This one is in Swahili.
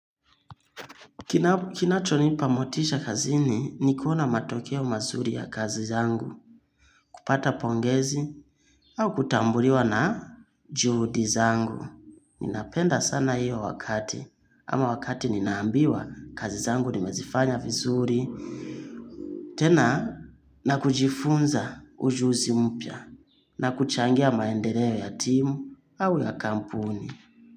Kinachonipa motisha kazini ni kuona matokeo mazuri ya kazi zangu, kupata pongezi au kutambuliwa na juhudi zangu. Ninapenda sana hiyo wakati ama wakati ninaambiwa kazi zangu nimezifanya vizuri. Tena na kujifunza ujuzi mpya na kuchangia maendeleo ya timu au ya kampuni.